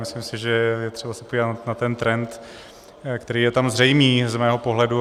Myslím si, že je třeba se podívat na ten trend, který je tam zřejmý z mého pohledu.